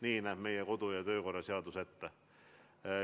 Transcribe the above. Nii näeb meie kodu- ja töökorra seadus ette.